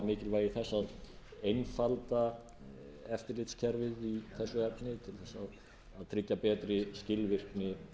mikilvægi þess að einfalda eftirlitskerfið í þessu efni til þess að tryggja betri skilvirkni